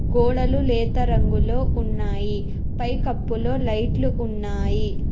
గోడలు నేత రంగులో ఉన్నాయి పై కప్పులో లైట్లు ఉన్నాయి.